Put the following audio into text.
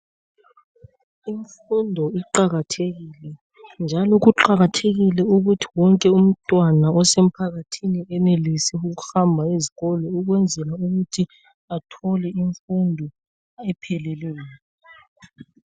Imfundo iqakathekile njalo kuqakathekile ukuthi wonke umntwana ose mphakathini enelise ukuhamba ezikolo ukwenzelu kuthi athole imfundo epheleleyo.